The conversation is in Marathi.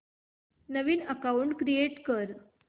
नवीन अकाऊंट क्रिएट कर